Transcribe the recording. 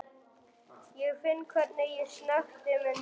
Ég finn hvernig ég snökti með nefinu.